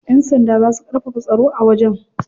Yan sanda za su karfafa tsaro a wajen.